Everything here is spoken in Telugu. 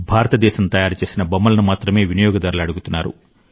భారతదేశం తయారు చేసిన బొమ్మలను మాత్రమే వినియోగదారులు అడుగుతున్నారు